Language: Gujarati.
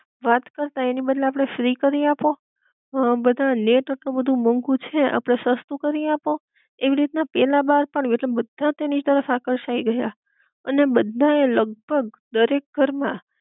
વાત કરતાં એના બદલે આપડે ફ્રી કરી આપો, હ બધા નેટ આટલું બધુ મોંઘું છે આપડે સસ્તું કરી આપો, એવી રીત ના પેલા બાર પડ્યું એટલે બધા તેની તરફ આકર્ષાઈ રહ્યા, અને બધા એ લગભગ દરેક ઘર માં